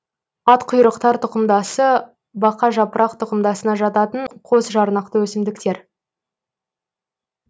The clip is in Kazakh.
атқұйрықтар тұқымдасы бақажапырақ тұқымдасына жататын қосжарнақты өсімдіктер